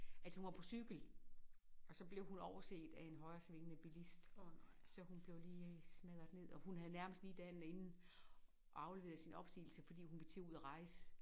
Altså hun var på cykel og så blev hun overset af en højresvingende bilist så hun blev lige smadret ned og hun havde nærmest lige dagen inden afleveret sin opsigelse fordi hun ville til at ud og rejse